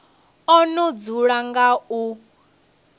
o no dzula nga u